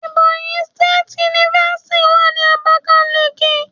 Ebonyi State University wà ní Abakiliki.